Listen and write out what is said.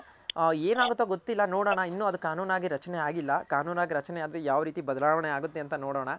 ಹ ಹ ಏನಾಗುತ್ತೋ ನೋಡೋಣ ಅದು ಕಾನೂನಾಗಿ ರಚನೆ ಆಗಿಲ್ಲ ಕಾನೂನಾಗಿ ರಚನೆ ಆದ್ರೆ ಯಾವ್ ರೀತಿ ಬದಲಾವಣೆ ಆಗುತ್ತೆ ಅಂತ ನೋಡೋಣ.